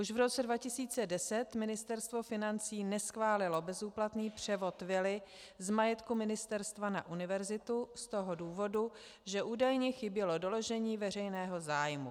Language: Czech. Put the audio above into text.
Už v roce 2010 Ministerstvo financí neschválilo bezúplatný převod vily z majetku ministerstva na univerzitu z toho důvodu, že údajně chybělo doložení veřejného zájmu.